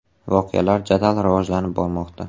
Voqealar jadal rivojlanib bormoqda.